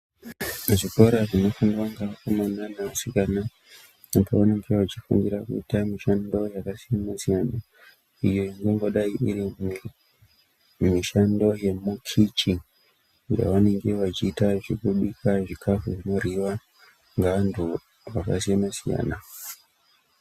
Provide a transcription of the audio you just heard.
Zvikora zvinofundwa ngeakomana neasikana apo vanenge vechifundira kuita mushando yavo yakasiyana-siyana, iyo ingangodai iri mushando yemukichi yavanenge vachiita zvekubika zvikafu zvinorhyiwa ngeantu akasiyana-siyana.